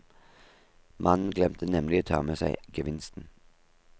Mannen glemte nemlig å ta med seg gevinsten.